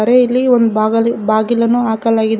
ಇಲ್ಲಿ ಒಂದು ಬಾಗಲು ಬಾಗಿಲನ್ನು ಹಾಕಲಾಗಿದೆ ಮ--